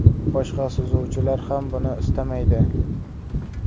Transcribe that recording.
Boshqa suzuvchilar ham buni istamaydi.